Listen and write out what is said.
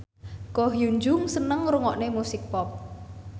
Ko Hyun Jung seneng ngrungokne musik pop